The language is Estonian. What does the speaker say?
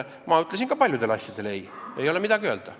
Ma ütlesin ka siis paljudele asjadele ei, ei ole midagi öelda.